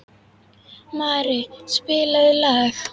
Mari, spilaðu lag.